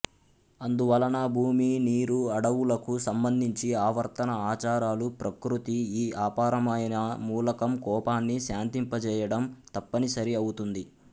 అందువలన భూమి నీరు అడవులకు సంబంధించి ఆవర్తన ఆచారాలు ప్రకృతి ఈ అపారమయిన మూలకం కోపాన్ని శాంతింపచేయడం తప్పనిసరి అవుతుంది